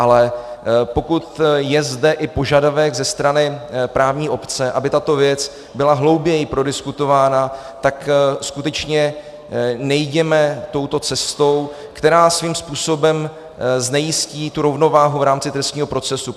Ale pokud je zde požadavek i ze strany právní obce, aby tato věc byla hlouběji prodiskutována, tak skutečně nejděme touto cestou, která svým způsobem znejistí tu rovnováhu v rámci trestního procesu.